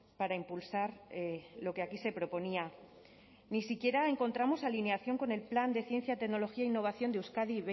para impulsar lo que aquí se proponía ni siquiera encontramos alineación con el plan de ciencia tecnología e innovación de euskadi